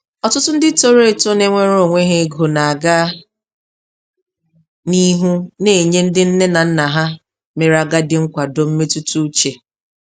Ọtụtụ ndị toro eto na-enwere onwe ha ego na-aga n'ihu na-enye ndị nne na nna ha mere agadị nkwado mmetụta uche.